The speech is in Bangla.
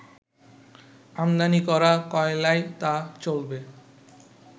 আমদানি করা কয়লায় তা চলবে